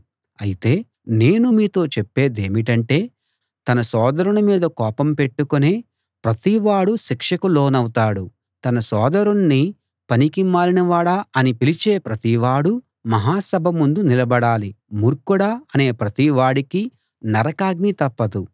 అయితే నేను మీతో చెప్పేదేమిటంటే తన సోదరుని మీద కోపం పెట్టుకొనే ప్రతివాడూ శిక్షకు లోనవుతాడు తన సోదరుణ్ణి పనికి మాలినవాడా అని పిలిచే ప్రతివాడూ మహాసభ ముందు నిలబడాలి మూర్ఖుడా అనే ప్రతివాడికీ నరకాగ్ని తప్పదు